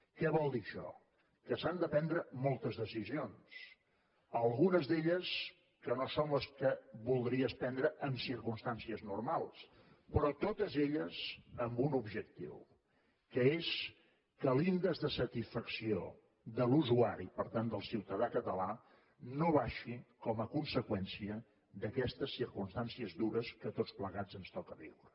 què vol dir això que s’han de prendre moltes decisions algunes d’elles que no són les que voldries prendre en circumstàncies normals però totes elles amb un objectiu que és que l’índex de satisfacció de l’usuari per tant del ciutadà català no baixi com a conseqüència d’aquestes circumstàncies dures que a tots plegats ens toca viure